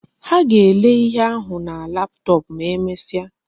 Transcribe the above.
Ha ga-ele ihe ahu na laptop ma emesia